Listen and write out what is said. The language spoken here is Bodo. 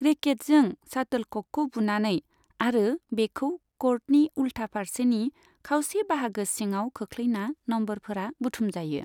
रेकेटजों शाटोलक'कखौ बुनानै आरो बेखौ क'र्टनि उल्था फारसेनि खावसे बाहागो सिङाव खोख्लैना नम्बरफोरा बुथुमजायो।